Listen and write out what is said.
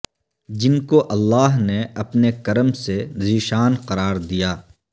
جن کو اللہ نے اپنے کرم سے ذی شان قرار دیا